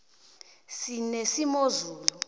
sinesimozula